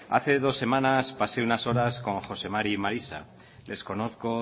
hace dos semanas pasé unas horas con jose mari y marisa les conozco